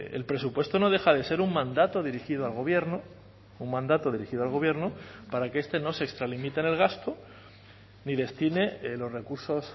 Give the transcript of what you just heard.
el presupuesto no deja de ser un mandato dirigido al gobierno un mandato dirigido al gobierno para que este no se extralimite en el gasto ni destine los recursos